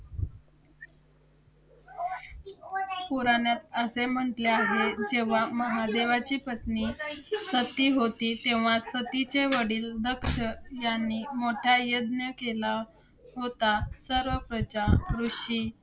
पुराणात असे म्हटले आहे, जेव्हा महादेवाची पत्नी सती होती, तेव्हा सतीचे वडील दक्ष यांनी मोठा यज्ञ केला होता. सर्व प्रजा, ऋषी,